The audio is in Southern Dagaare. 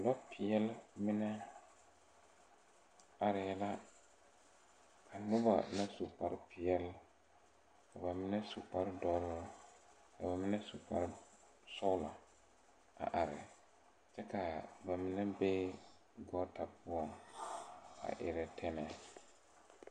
Lɔpeɛle mine arɛɛ la a noba na mine su kpare peɛle ka bamine su kpare doɔre ka bamine su kpare sɔglɔ a are kyɛ ka bamine be gɔɔta poɔ a erɛ tanɛɛ.